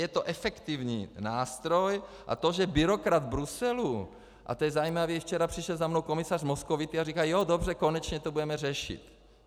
Je to efektivní nástroj, a to, že byrokrat Bruselu, a to je zajímavé, včera přišel za mnou komisař Moscovici a říkal, jo, dobře, konečně to budeme řešit.